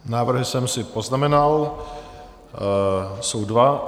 Návrhy jsem si poznamenal, jsou dva.